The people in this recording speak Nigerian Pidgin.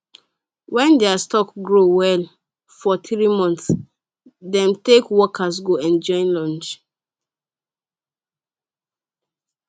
when their stocks grow well for three months dem take workers go enjoy lunch